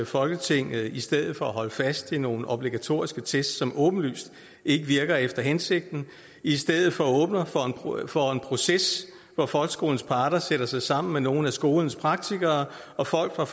folketinget i stedet for at holde fast i nogle obligatorisk test som åbenlyst ikke virker efter hensigten i stedet for åbner for en proces hvor folkeskolens parter sætter sig sammen med nogle af skolens praktikere og folk fra